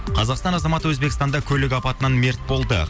қазақстан азаматы өзбекстанда көлік апатынан мерт болды